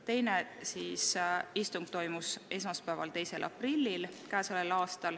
Teine istung toimus esmaspäeval, 2. aprillil.